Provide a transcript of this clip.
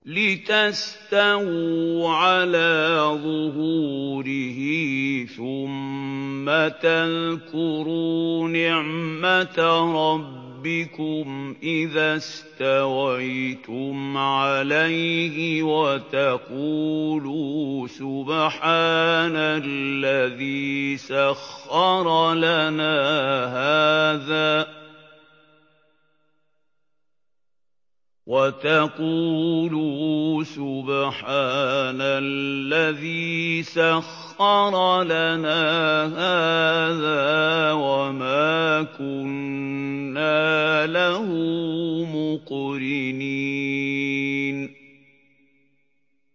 لِتَسْتَوُوا عَلَىٰ ظُهُورِهِ ثُمَّ تَذْكُرُوا نِعْمَةَ رَبِّكُمْ إِذَا اسْتَوَيْتُمْ عَلَيْهِ وَتَقُولُوا سُبْحَانَ الَّذِي سَخَّرَ لَنَا هَٰذَا وَمَا كُنَّا لَهُ مُقْرِنِينَ